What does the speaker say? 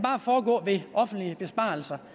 foregå ved offentlige besparelser